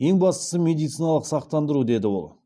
ең бастысы медициналық сақтандыру деді ол